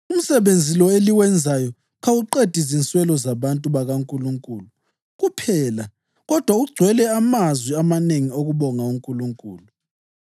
Umsebenzi lo eliwenzayo kawuqedi zinswelo zabantu bakaNkulunkulu kuphela kodwa ugcwele amazwi amanengi okubonga uNkulunkulu.